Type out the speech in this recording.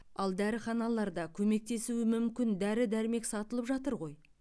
ал дәріханаларда көмектесуі мүмкін дәрі дәрмек сатылып жатыр ғой